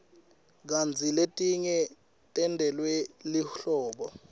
kantsi letinye tentelwe lihlobo